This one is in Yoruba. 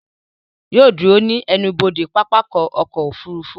Yóò ó dúró ní ẹnubodè pápákọ̀ ọkọ̀ òfurufú